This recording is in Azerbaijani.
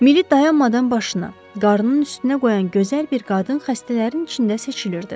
Mili dayanmadan başına, qarnının üstünə qoyan gözəl bir qadın xəstələrin içində seçilirdi.